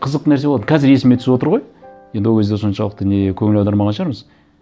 қызық нәрсе болатын қазір есіме түсіп отыр ғой енді ол кезде соншалықты не көңіл аудармаған шығармыз